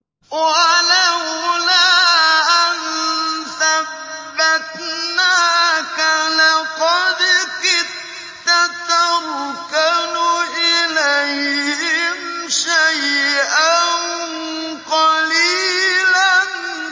وَلَوْلَا أَن ثَبَّتْنَاكَ لَقَدْ كِدتَّ تَرْكَنُ إِلَيْهِمْ شَيْئًا قَلِيلًا